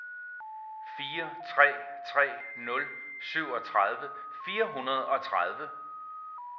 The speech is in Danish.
fire tre tre nul syvogtredive fire hundrede og tredive